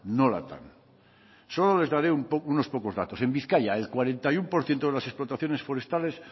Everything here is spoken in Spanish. nolatan solo les daré unos pocos datos en bizkaia el cuarenta y uno por ciento de las explotaciones forestales